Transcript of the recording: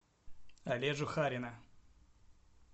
олежу харина